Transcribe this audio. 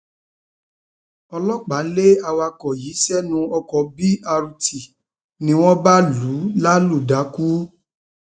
ọlọpàá lé awakọ yìí sẹnu ọkọ b rt ni wọn bá lù ú lálùdákú